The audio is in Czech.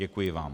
Děkuji vám.